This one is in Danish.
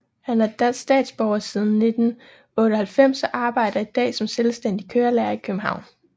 Han er dansk statsborger siden 1998 og arbejder i dag som selvstændig kørelærer i København